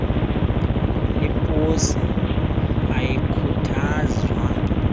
leeposi ayikhuthazwa tu